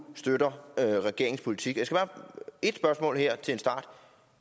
støtter regeringens politik et spørgsmål her til en start